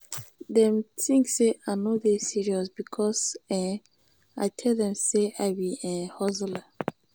dem tink sey i no dey serious because um i tell dem sey i be um hustler.